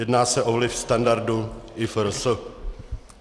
Jedná se o vliv standardu IFRS.